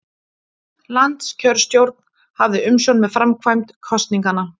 Landskjörstjórn hafði umsjón með framkvæmd kosninganna